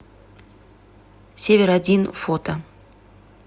север один фото